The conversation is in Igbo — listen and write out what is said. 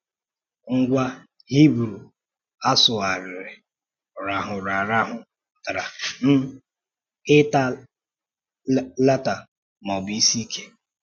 Ngwa Hibru a sụgharịrị "rahụrụ arahụ" pụtara um ịta lata ma ọ bụ isi ike.